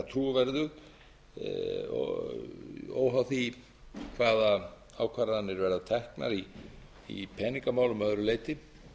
trúverðug óháð því hvaða ákvarðanir verða teknar í peningamálum að öðru leyti